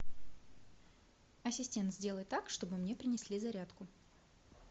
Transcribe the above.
ассистент сделай так чтобы мне принесли зарядку